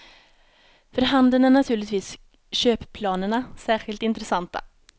För handeln är naturligtvis köpplanerna särskilt intressanta.